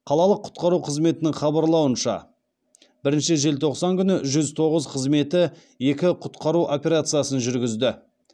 қалалық құтқару қызметінің хабарлауынша бірніші желтоқсан күні жүз тоғыз қызметі екі құтқару операциясын жүргізді